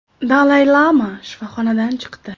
Dalay Lama shifoxonadan chiqdi.